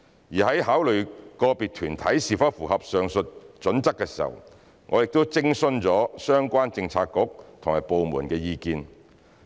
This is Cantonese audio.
而在考慮個別團體是否符合上述準則時，我們亦已徵詢相關政策局和部門的意見。